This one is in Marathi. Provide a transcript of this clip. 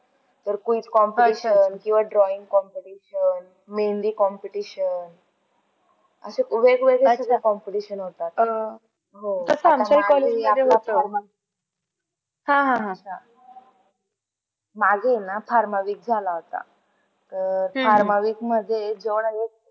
माझ आहे न farma वीस झाला होता, अह farma वीस मध्ये जवळ ही.